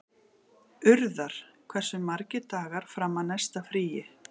Urðar, hversu margir dagar fram að næsta fríi?